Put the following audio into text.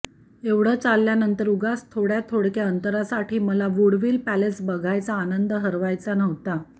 एवढं चालल्यानंतर उगाच थोडयाथोडक्या अंतरासाठी मला वुडविल पॅलेस बघायचा आनंद हरवायचा नव्हता